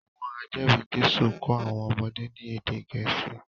Àwọn ajeri Jésù ko àwọn ọmọdé ní ède Gẹ̀ẹ́sì